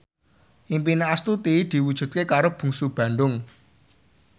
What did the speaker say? impine Astuti diwujudke karo Bungsu Bandung